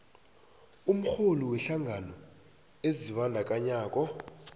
umrholi wehlangano ezibandakanyako